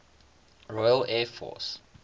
royal air force